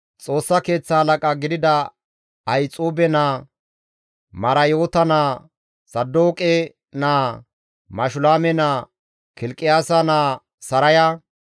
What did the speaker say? Xoossa Keeththa halaqa gidida Ahixuube naa, Marayoota naa, Saadooqe naa, Mashulaame naa, Kilqiyaasa naa Saraya,